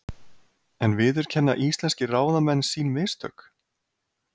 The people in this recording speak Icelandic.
En viðurkenna íslenskir ráðamenn sín mistök?